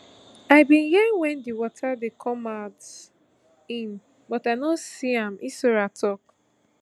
i bin hear wen di water dey come in but i no see am hissora tok